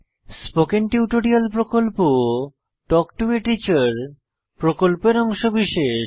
spoken tutorial প্রকল্প talk to a teacher প্রকল্পের অংশবিশেষ